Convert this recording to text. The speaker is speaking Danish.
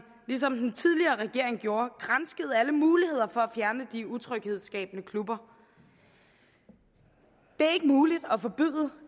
ligesom den tidligere regering gjorde gransket alle muligheder for at fjerne de utryghedsskabende klubber det er ikke muligt